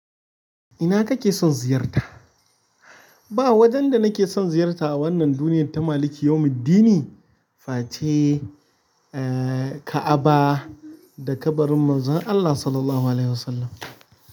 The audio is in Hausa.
Ina kake son ziyarta? Ba wajen da nake son ziyarta a wannan duniyar ta maliki yaumiddini, face Ka'aba da kabarin Manzon Allah Sallallahu Alaihi Wasallam.